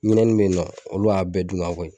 Ɲinɛnin bɛ ye nɔ olu y'a bɛɛ dun ka bɔ ye.